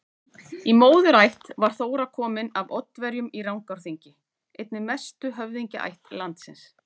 Í móðurætt var Þóra komin af Oddaverjum í Rangárþingi, einni mestu höfðingjaætt landsins.